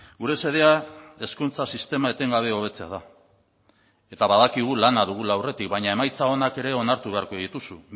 gure xedea hezkuntza sistema etengabe hobetzea da eta badakigu lana dugula aurretik baina emaitza onak ere onartu beharko dituzu